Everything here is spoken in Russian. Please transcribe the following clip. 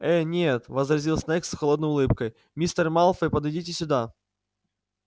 э-э нет возразил снегг с холодной улыбкой мистер малфой подойдите сюда